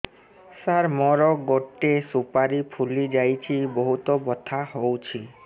ସାର ମୋର ଗୋଟେ ସୁପାରୀ ଫୁଲିଯାଇଛି ବହୁତ ବଥା ହଉଛି